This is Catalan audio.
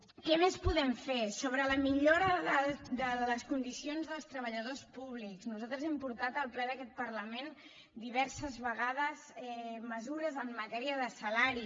què més podem fer sobre la millora de les condicions dels treballadors públics nosaltres hem portat al ple d’aquest parlament diverses vegades mesures en matèria de salari